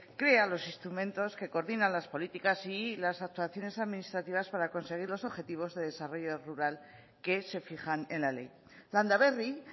crea los instrumentos que coordinan las políticas y las actuaciones administrativas para conseguir los objetivos de desarrollo rural que se fijan en la ley landaberri